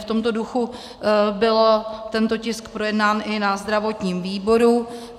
V tomto duchu byl tento tisk projednán i na zdravotním výboru.